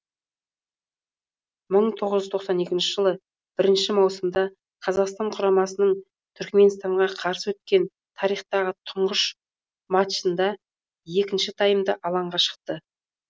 бір мың тоғыз жүз тоқсан екінші жылы бірінші маусымда қазақстан құрамасының түрікменстанға қарсы өткен тарихтағы тұңғыш мачында екінші таймда алаңға шықты